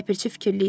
Ləpirçi fikirli idi.